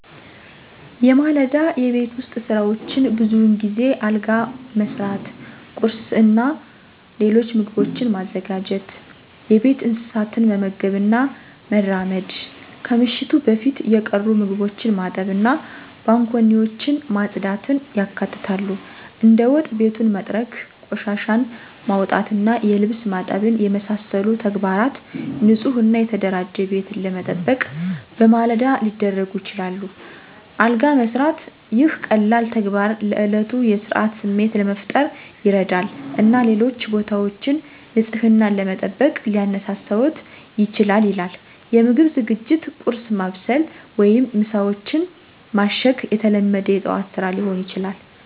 የማለዳ የቤት ውስጥ ሥራዎች ብዙውን ጊዜ አልጋ መሥራት፣ ቁርስ እና ሌሎች ምግቦችን ማዘጋጀት፣ የቤት እንስሳትን መመገብ እና መራመድ፣ ከምሽቱ በፊት የቀሩ ምግቦችን ማጠብ እና ባንኮኒዎችን ማጽዳትን ያካትታሉ። እንደ ወጥ ቤቱን መጥረግ፣ ቆሻሻን ማውጣት እና የልብስ ማጠብን የመሳሰሉ ተግባራት ንፁህ እና የተደራጀ ቤትን ለመጠበቅ በማለዳ ሊደረጉ ይችላሉ። አልጋ መስራት - ይህ ቀላል ተግባር ለእለቱ የሥርዓት ስሜት ለመፍጠር ይረዳል እና ሌሎች ቦታዎችን ንፅህናን ለመጠበቅ ሊያነሳሳዎት ይችላል ይላል። የምግብ ዝግጅት - ቁርስ ማብሰል ወይም ምሳዎችን ማሸግ የተለመደ የጠዋት ስራ ሊሆን ይችላል።